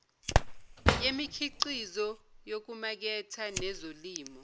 yemikhiqizo yokumaketha nezolimo